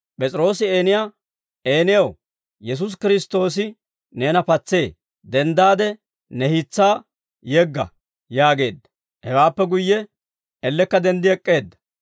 P'es'iroosi Eeniyaa, «Eenaw, Yesuusi Kiristtoosi neena patsee; denddaade ne hiis'aa yegga» yaageedda. Hewaappe guyye ellekka denddi ek'k'eedda.